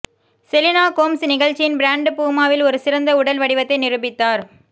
Selena Gomez நிகழ்ச்சியின் brand பூமாவில் ஒரு சிறந்த உடல் வடிவத்தை நிரூபித்தார்